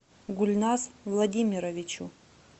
гульназ владимировичу